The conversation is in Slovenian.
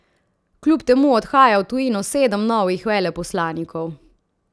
Kljub temu odhaja v tujino sedem novih veleposlanikov.